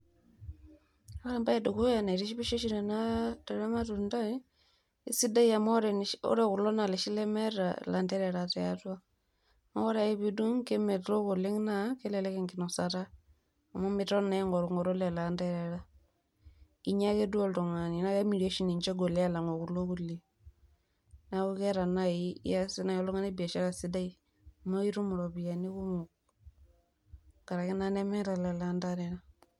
Ore embaye edukuya naitishipisho tele matundai, esidai amu ore kulo naa iloshi lemeeta ilanterera tiatua neeku ore ake piidung' naa kemelok oleng' naa kelelek enginosata amu miton naa aing'orung'oru lelo aanterera, inya ake duo oltung'ani. Naa kemiri oshi ninche egol aalang'u kulo kulie neeku iasie nai oltung'ani biashara sidai amu aitum iropiyiani kumok. Karaki naa nemeeta lelo anterera.